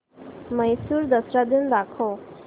म्हैसूर दसरा दिन दाखव